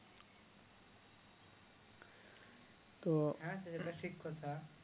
হ্যাঁ সেটা ঠিক কথা